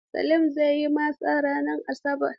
Salim zai yi masa ranar Asabar.